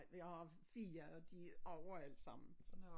Jeg har 4 og de er over alle sammen så